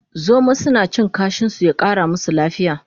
Zomo suna cin kashin su ya Kara musu lafiya